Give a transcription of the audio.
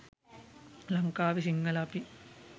ලංකාවේ සිංහල අපි